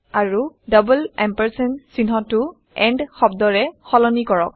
আৰু ডাবল ampersandএম্পাম্প চিহ্নটো এণ্ড শব্দৰে সলনি কৰক